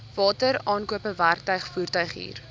wateraankope werktuig voertuighuur